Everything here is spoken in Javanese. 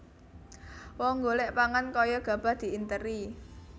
Wong golek pangan kaya gabah diinteri